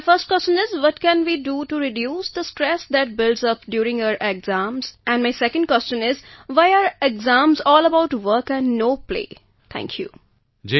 my first question is what can we do to reduce the stress that builds up during our exams and my second question is why exams all about work and no play are thank you